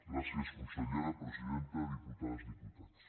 gràcies consellera presidenta diputades diputats